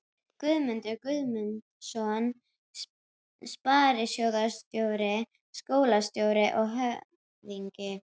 Guðmundur Guðmundsson sparisjóðsstjóri, skólastjóri og höfðingi